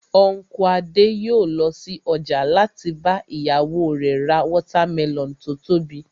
Unku Adé yòó lọ sí ọjà láti bá ìyàwó rẹ̀ ra watermelon tó tóbi